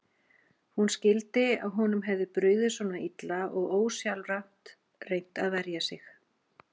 Hún skildi að honum hefði brugðið svona illa og ósjálfrátt reynt að verja sig.